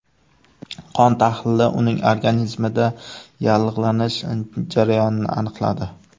Qon tahlili uning organizmida yallig‘lanish jarayonini aniqladi.